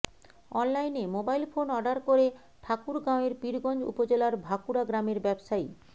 অনলাইনে mobile phone order করে ঠাকুরগাঁওয়ের পীরগঞ্জ উপজেলার ভাকুড়া গ্রামের ব্যবসায়ী